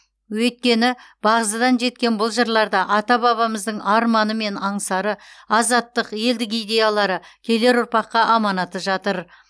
өйткені бағзыдан жеткен бұл жырларда ата бабамыздың арманы мен аңсары азаттық елдік идеялары келер ұрпаққа аманаты жатыр